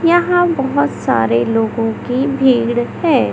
यहां बहोत सारे लोगों की भीड़ है।